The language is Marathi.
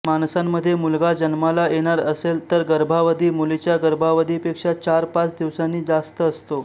माणसांमध्ये मुलगा जन्माला येणार असेल तर गर्भावधी मुलीच्या गर्भावधीपेक्षा चार पाच दिवसांनी जास्त असतो